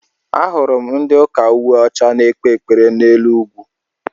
Ahụrụ m ndị ụka uwe ọcha n'ekpe ekpere n'elu ugwu.